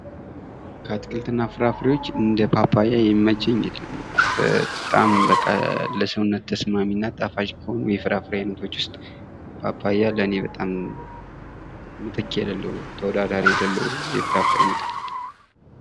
አትክልትና ፍራፍሬዎች እንደ ፓፓያ የሚመቸኝ የለም። በጣም በቃ ለሰውነት ተስማሚና ጣፋጭ ከሆኑ የፍራፍሬ አይነቶች ውስጥ ፓፓያ ለኔ በጣም ምትክ የሌለው፤ ተወዳዳሪ የሌለው የፍራፍሬ አይነት ነው።